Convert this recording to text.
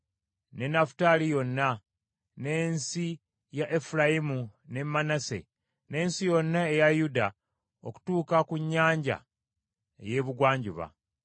ne Nafutaali yonna, n’ensi ya Efulayimu ne Manase, n’ensi yonna eya Yuda okutuuka ku Nnyanja ey’Ebugwanjuba,